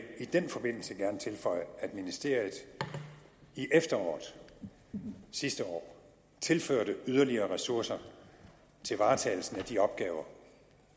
i den forbindelse gerne tilføje at ministeriet i efteråret sidste år tilførte yderligere ressourcer til varetagelsen af de opgaver